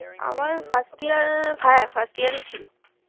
আমার হ্যাঁ first year এ ছিল